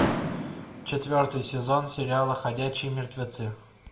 четвертый сезон сериала ходячие мертвецы